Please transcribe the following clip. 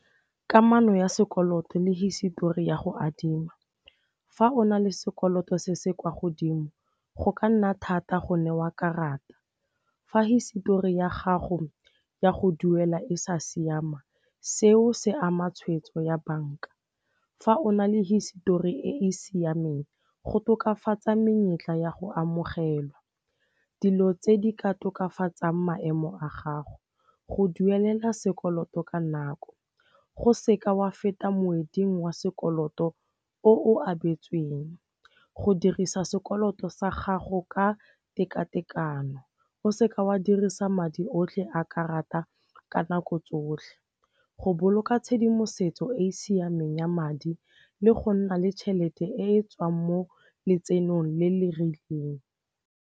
Kamano ya sekoloto le hisitori ya go adima. Fa o na le sekoloto se se kwa godimo go ka nna thata go newa karata. Fa hisitori ya gago ya go duela e sa siama seo se ama tshwetso ya banka. Fa o na le hisitori e e siameng go tokafatsa menyetla ya go amogelwa. Dilo tse di ka tokafatsang maemo a gago. Go duelela sekoloto ka nako, go seka wa feta motsweding wa sekoloto o o abetsweng. Go dirisa sekoloto sa gago ka tekatekano. O seka wa dirisa madi otlhe a karata ka nako tsotlhe, go boloka tshedimosetso e e siameng ya madi le go nna le tšhelete e tswang mo letsenong le le rileng.